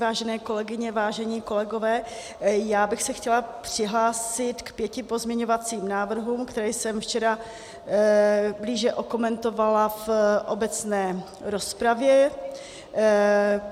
Vážené kolegyně, vážení kolegové, já bych se chtěla přihlásit k pěti pozměňovacím návrhům, které jsem včera blíže okomentovala v obecné rozpravě.